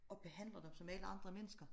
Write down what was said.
Og behandler dem som alle andre mennesker